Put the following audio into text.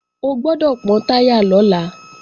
O gbọ́dọ̀ pọ́n táyà lọ́la!